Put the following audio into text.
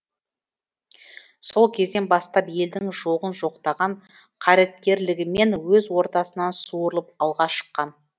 сол кезден бастап елдің жоғын жоқтаған қайраткерлігімен өз ортасынан суырылып алға шыққан